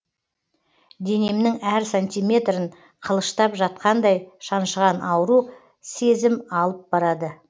денемнің әр сантиметрін қылыштап жатқандай шаншыған ауру сезім алып барады